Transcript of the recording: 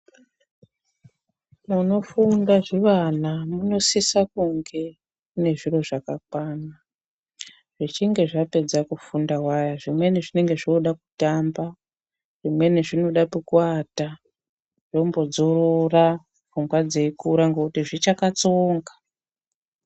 Munofunda zvivana munosisa kunge mune zviro zvakakwana. Zvichinge zvapedza kufunda waya zvimweni zvinenge zvoda kutamba zvimweni zvinoda pekuwata zvombodzorora pfungwa dzeikura ngekuti zvichakatsonga.